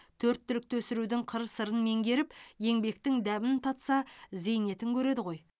төрт түлікті өсірудің қыр сырын меңгеріп еңбектің дәмін татса зейнетін көреді ғой